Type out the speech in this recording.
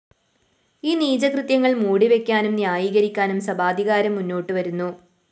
ഈ നീചകൃത്യങ്ങള്‍ മൂടിവക്കാനും ന്യായീകരിക്കാനും സഭാധികാരം മുന്നോട്ടു വരുന്നു